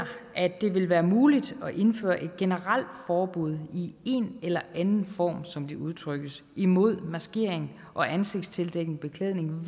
at det vil være muligt at indføre et generelt forbud i en eller anden form som det udtrykkes imod maskering og ansigtstildækkende beklædning